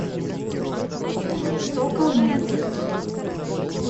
соколмед